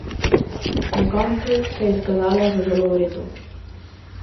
Na koncu so se izkazali za zelo v redu.